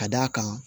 Ka d'a kan